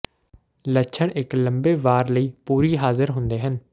ਲੱਛਣ ਇੱਕ ਲੰਮੇ ਵਾਰ ਲਈ ਪੂਰੀ ਹਾਜ਼ਰ ਹੁੰਦੇ ਹਨ